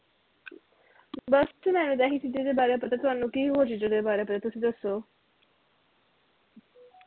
ਬਸ ਤੇ ਮੈਂ ਤੇ ਆਹੀ ਚੀਜ਼ਾਂ ਦੇ ਬਾਰੇ ਪਤਾ ਕਰਨ ਨੂੰ ਕਿ ਹੋਰ ਚੀਜ਼ਾਂ ਦੇ ਬਾਰੇ ਪਹਿਲਾ ਤੁਸੀਂ ਦਸੋ